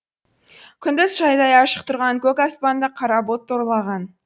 күндіз шайдай ашық тұрған көк аспанды қара бұлт торлаған